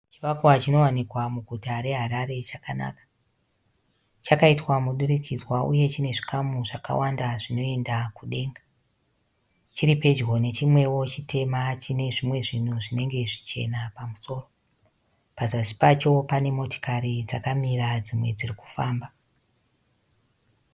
Chivakwa chinowanikwa muguta reHarare chakanaka. Chakaitwa mudurikidzwa uye chine zvikamu zvakawanda zvinoenda kudenga. Chiripedyo nechimwewo chitema chine zvimwe zvinhu zvinenge zvichena pamusoro. Pazasi pacho pane motokari dzakamira dzimwe dzirikufamba.